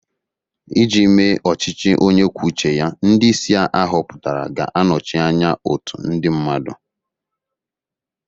Iji mee ọchịchị onye kwuo uche ya, ndị isi a họpụtara ga-anọchi anya otu ndị mmadụ